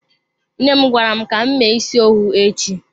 Nne m gwara m ka m mee isi owu echi.